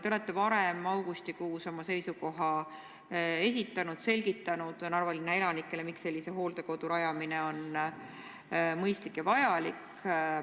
Te olete varem, augustikuus, oma seisukoha esitanud, selgitanud Narva linna elanikele, miks sellise hooldekodu rajamine on mõistlik ja vajalik.